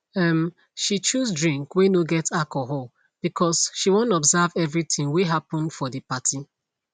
um she choose drink whey no get alcohol because she wan observe everything whey happen for the party